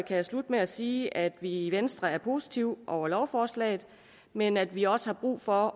jeg slutte med at sige at vi i venstre er positive over for lovforslaget men at vi også har brug for